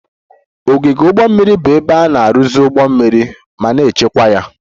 Ogige ụgbọ mmiri bụ ebe a na-arụzi ụgbọ mmiri ma na-echekwa ya